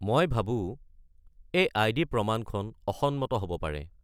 মই ভাবো এই আই.ডি. প্ৰমাণখন অসন্মত হ'ব পাৰে।